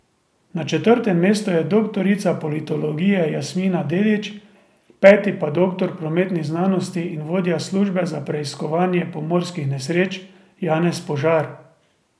Na četrtem mestu je doktorica politologije Jasminka Dedič, peti pa doktor prometnih znanosti in vodja službe za preiskovanje pomorskih nesreč Janez Požar.